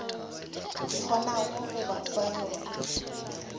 kgonago go ba fa yona